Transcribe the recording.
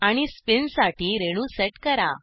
आणि स्पिनसाठी रेणू सेट करा